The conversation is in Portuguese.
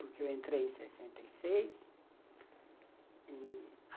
Porque eu entrei em sessenta e seis e